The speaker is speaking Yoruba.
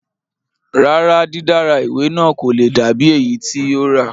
Rárá, dídára ìwé náà kò le dà bíi èyí tí yóò rà